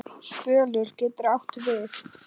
Spölur getur átt við